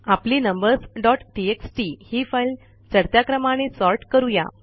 आपली numbers dot TXT ही file चढत्या क्रमाने सॉर्ट करू या